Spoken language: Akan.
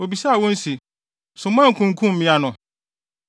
Obisaa wɔn se, “So moankunkum mmea no?